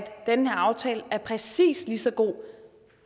den her aftale er præcis lige så god